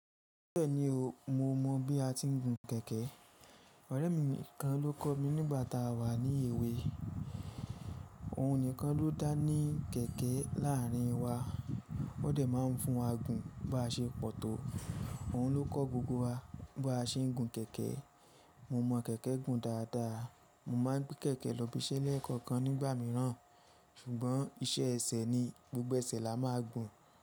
Bẹ́ẹ̀ni o, mo mọ̀ bí a ti ń gun kẹ̀kẹ́. Ọ̀rẹ́ mi kan ló kọ́ mi nígbà tá a wà ní èwe. Òun nìkan ló dá ní kẹ̀kẹ́ láàárín wa, ó dẹ̀ máa ń fún wa gun bí a ṣe pọ̀ tó. Òun ló kọ́ gbogbo wa bí a ṣe ń gun kẹ̀kẹ́. Mo mọ̀ kẹ̀kẹ́ gun dáadáa. Mo máa gbé kẹ̀kẹ́ lọ ibiṣẹ́ lẹ́ẹ̀kan kan nígbà mìíràn, ṣùgbọ́n iṣẹ́ ẹsẹ̀ ni, gbogbo ẹsẹ̀ la máa gùn.